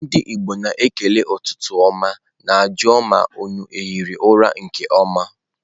Ndi Igbo na-ekele ututu oma na-aju ma unu ahiri ura nke oma.